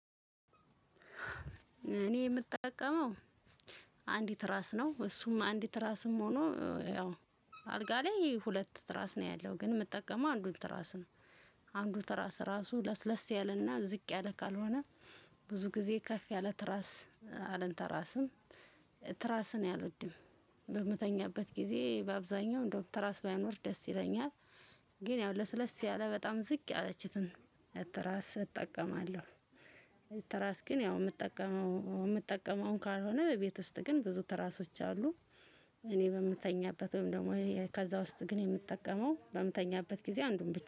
እኔ የምጠቀመው አንድ ትራስ ነው። እሱም አንድ ትራስም ሆኖ ያው አልጋ ላይ ሁለት ትራስ ነው ያለው ግን የምጠቀመው አንዱን ትራስ ነው። አንዱ ትራስ ራሱ ለስለስ ያለና ዝቅ ያለ ካልሆነ ብዙ ጊዜ ከፍ ያለ ትራስ አልንተራስም። ትራስ እኔ አልወድም። በምተኛበት ጊዜ በአብዛኛው እንደውም ትራስ ባይኖር ደስ ይለኛል። ግን ያው ለስለስ ያለ በጣም ዝቅ ያለችትን ትራስ እጠቀማለሁ። ትራስ ግን ያው የምጠቀመው የምጠቀመውን ካልሆነ ቤት ውስጥ ግን ብዙ ትራሶች አሉ። እኔ በምተኛበት ወይም ደግሞ ከዛ ውስጥ ግን የምጠቀመው በምተኛበት ጊዜ አንዱን